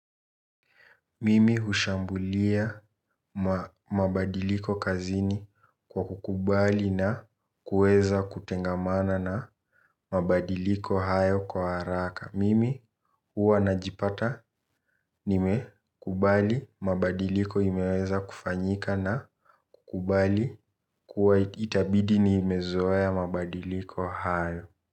Mimi hushambulia mabadiliko kazini kwa kukubali na kuweza kutengamana na mabadiliko hayo kwa haraka. Mimi huwa na jipata nime kubali mabadiliko imeweza kufanyika na kukubali kuwa itabidi ni imezoeya mabadiliko hayo.